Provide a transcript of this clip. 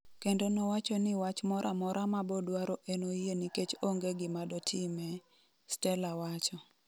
Kendo nowacho ni wach moramora mabodwaro enoyie nikech onge gimadotime, Stella wacho.